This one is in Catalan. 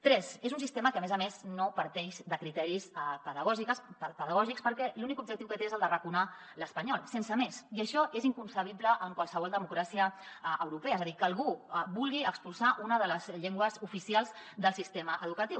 tres és un sistema que a més a més no parteix de criteris pedagògics perquè l’únic objectiu que té és el d’arraconar l’espanyol sense més i això és inconcebible en qualsevol democràcia europea és a dir que algú vulgui expulsar una de les llengües oficials del sistema educatiu